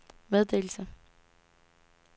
meddelelse